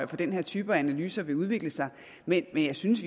den her type analyser vil udvikle sig men jeg synes